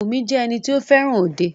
Bùnmi jẹ́ ẹni tí o fẹràn òde.